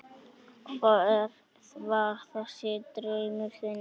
Hver var þessi draumur þinn?